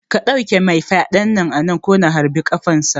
Ka ɗauke mai fyaɗen nan anan ko na harbi ƙafan sa